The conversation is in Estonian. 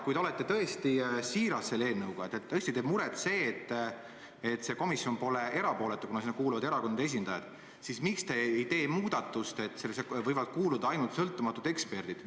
Kui te olete siiras selle eelnõu puhul ja teile tõesti teeb muret, et see komisjon pole erapooletu, kuna sinna kuuluvad erakondade esindajad, siis miks te ei tee muudatust, et sinna võivad kuuluda ainult sõltumatud eksperdid?